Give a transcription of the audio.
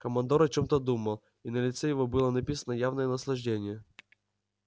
командор о чём-то думал и на лице его было написано явное наслаждение